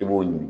I b'o ɲini